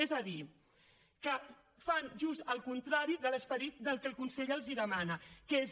és a dir que fan just el contrari de l’esperit del que el consell els demana que és